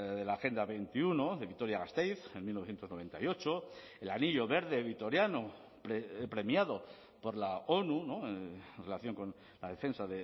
de la agenda veintiuno de vitoria gasteiz en mil novecientos noventa y ocho el anillo verde vitoriano premiado por la onu en relación con la defensa